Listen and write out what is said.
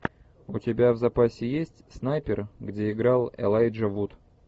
у тебя в запасе есть снайпер где играл элайджа вуд